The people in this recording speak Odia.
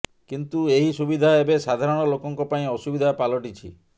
କିନ୍ତୁ ଏହି ସୁବିଧା ଏବେ ସାଧାରଣ ଲୋକଙ୍କ ପାଇଁ ଅସୁବିଧା ପାଲଟିଛି